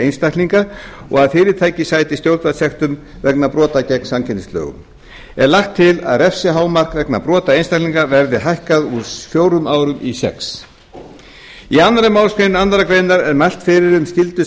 einstaklinga og að fyrirtæki sæti stjórnvaldssektum vegna brota gegn samkeppnislögum er lagt til að refsihámark vegna brota einstaklinga verði hækkað úr fjórum árum í sex í annarri málsgrein annarrar greinar er mælt fyrir um skyldu